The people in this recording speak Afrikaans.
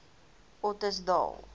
ottosdal